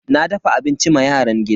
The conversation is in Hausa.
Na dafa abinci ma yaran gida.